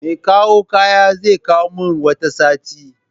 Mekawo kayan zekawo min wata satin